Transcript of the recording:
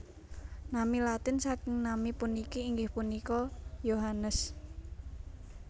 Nami Latin saking nami puniki inggih punika Iohannes